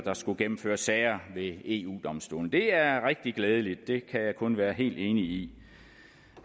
skulle gennemføres sager ved eu domstolen det er rigtig glædeligt det kan jeg kun være helt enig i